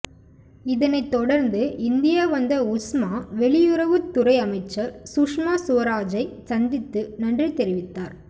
இதனை தொடர்ந்து இந்தியா வந்த உஸ்மா வெளியுறவுத்துறை அமைச்சர் சுஷ்மா சுவராஜைச் சந்தித்து நன்றி தெரிவித்தார்